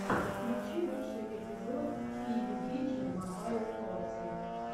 включи лучший эпизод пиюбиджи мобайл торти